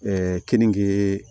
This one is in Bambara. kenige